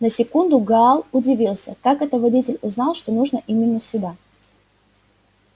на секунду гаал удивился как это водитель узнал что нужно именно сюда